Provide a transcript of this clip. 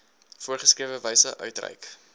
voorgeskrewe wyse uitreik